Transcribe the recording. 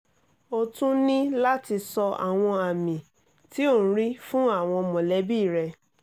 ó tún ní láti sọ àwọn àmì tí ò ń rí fún àwọn mọ̀lẹ́bí rẹ